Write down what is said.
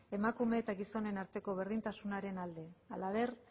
emakume eta gizonen arteko berdintasunaren alde halaber